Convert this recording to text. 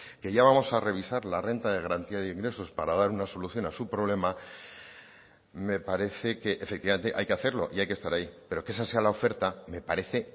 que ya vamos a revisar la renta de garantía de ingresos para dar una solución a su problema me parece que efectivamente hay que hacerlo y hay que estar ahí pero que esa sea la oferta me parece